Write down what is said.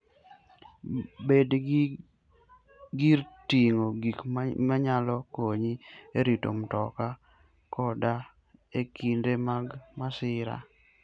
Bed gi gir ting'o gik manyalo konyi e rito mtoka koda e kinde mag masira.